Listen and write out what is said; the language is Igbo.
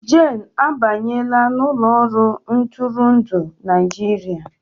Jane abanyela n'ụlọ ọrụ ntụrụndụ Naịjirịa